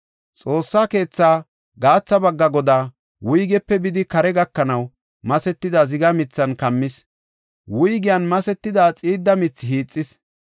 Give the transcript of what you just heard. Xoossaa keetha gaatha bagga godaa, wuygepe bidi kaara gakanaw masetida ziga mithan kammis; wuygiyan masetida xiidda mithi hiixis.